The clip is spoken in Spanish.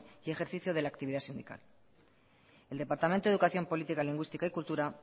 y ejercicio de la actividad sindical el departamento de educación política lingüística y cultura